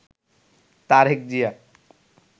Tarique Zia